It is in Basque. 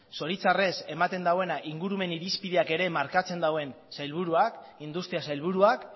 zoritxarrez ematen duena ingurumen irizpideak ere markatzen dauen sailburuak industria sailburuak